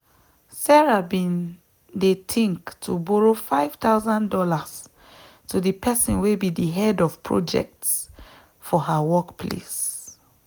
sarah bin dey think to borrow five thousand dollars to the person where be the head of projects for her work place